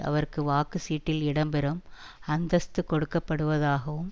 அவருக்கு வாக்கு சீட்டில் இடம்பெறும் அந்தஸ்து கொடுக்கப்படுவதாகவும்